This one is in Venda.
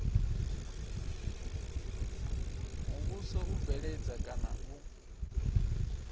muvhuso u bveledza kana u